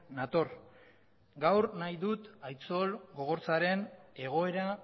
nator gaur nahi dut aitzol gogorzaren egoera